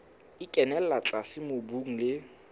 e kenella tlase mobung le